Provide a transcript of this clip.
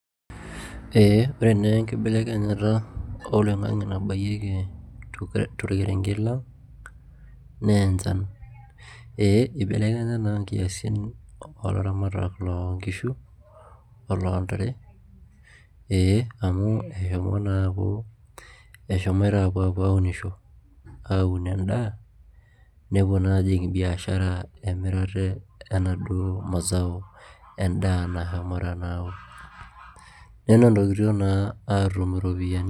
Ee ore naa enkibelekanyata oloingange nabayieki tongerek lang' naa enjan ee eibelekanya naa inkiasin oolaramatak loo nkishu oloo ntare ee amu eshomo naa aaku eshomoita naa apuo aaunisho aaun edaa nepuo naa aji biashara enaa emirare enaduo mazao endaa nashomoita naa aaun nenotoikituo naa apuo aatum iropiyani